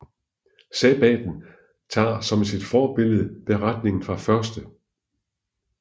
Sabbatten tager som sit forbillede beretningen fra 1